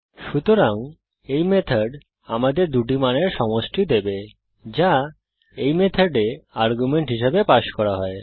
সুতরাং এই মেথড আমাদের দুটি মানের সমষ্টি দেবে যা এই মেথডে আর্গুমেন্ট হিসাবে পাস করা হয়